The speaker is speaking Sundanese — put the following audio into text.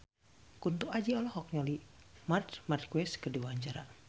Kunto Aji olohok ningali Marc Marquez keur diwawancara